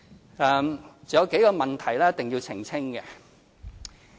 還有數個問題一定要澄清。